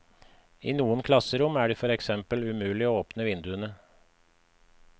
I noen klasserom er det for eksempel umulig å åpne vinduene.